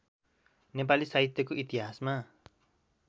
नेपाली साहित्यको इतिहासमा